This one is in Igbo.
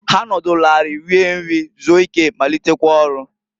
Ha nọdụlụ anị rie nri, zuo ike, malitekwa ọlụ.